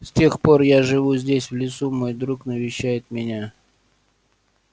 с тех пор я живу здесь в лесу мой друг навещает меня